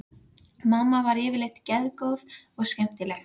Mamma var yfirleitt geðgóð og skemmtileg.